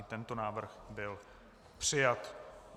I tento návrh byl přijat.